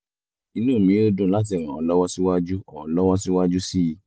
inú mi yóò dùn láti ràn ọ́ lọ́wọ́ síwájú ọ́ lọ́wọ́ síwájú sí i